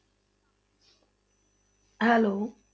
Hello